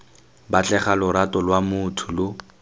batlega lorato lwa motho lo